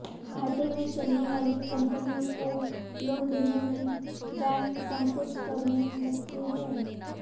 घाटे में चलने वाली कम्पनियों को लोन देने में बैंक संकोच करने लगते हैं